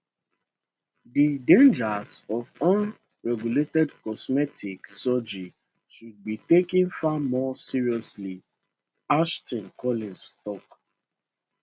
di dangers of unregulated cosmetic surgery should be taken far more seriously ashton collins tok